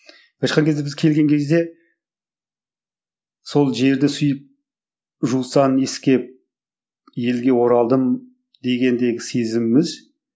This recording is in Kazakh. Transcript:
былайша айтқан кезде біз келген кезде сол жерді сүйіп жусанын иіскеп елге оралдым дегендегі сезіміміз